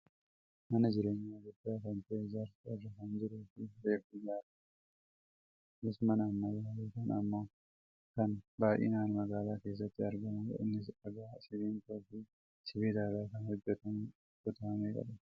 Mana jireenyaa guddaa kan ta'e ijaarsa irra kan jiruufi reefu ijaarramaa kan jirudha. Kunis mana ammayyaa yookaan ammoo kan baayyinaan magaalaa keessaatti argamudha. Innis dhagaa , simmintoo fi sibiila irraa kan hojjatamudha. Kutaa meeqa qaba?